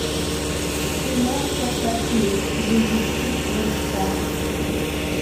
киношка софи жизнь с чистого листа